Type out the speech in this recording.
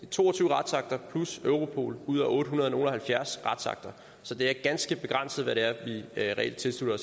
to og tyve retsakter plus europol ud af ottehundrede og nogle og halvfjerds retsakter så det er ganske begrænset hvad det er vi reelt tilslutter